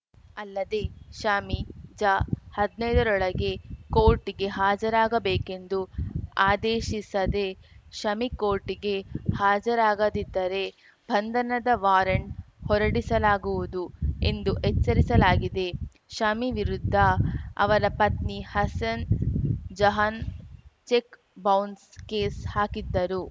ಅಲ್ಲದೆ ಶಾಮಿ ಜ ಹದ್ನೈದರೊಳಗೆ ಕೋರ್ಟ್‌ಗೆ ಹಾಜರಾಗಬೇಕೆಂದು ಆದೇಶಿಸದೆ ಶಮಿ ಕೋರ್ಟ್‌ಗೆ ಹಾಜರಾಗದಿದ್ದರೆ ಬಂಧನದ ವಾರಂಟ್‌ ಹೊರಡಿಸಲಾಗುವುದು ಎಂದು ಎಚ್ಚರಿಸಲಾಗಿದೆ ಶಮಿ ವಿರುದ್ಧ ಅವರ ಪತ್ನಿ Hasin Jahan check bounce case ಹಾಕಿದ್ದರು